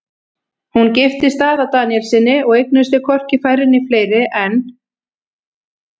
Hún giftist Daða Daníelssyni og eignuðust þau hvorki færri né fleiri en